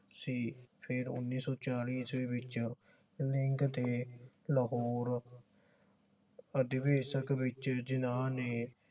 ਸੀ ਫੇਰ ਉੱਨੀ ਸੋ ਚਾਲੀ ਈਸਵੀ ਵਿਚ ਦੇ ਲਾਹੌਰ ਅਧੀਵੇਸ਼ਕ ਵਿਚ ਜਿੰਨ੍ਹਾਂ ਨੇ